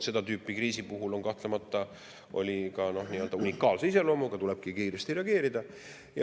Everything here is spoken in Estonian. Seda tüüpi kriisi puhul on kahtlemata tegu nii-öelda unikaalse, tulebki kiiresti reageerida.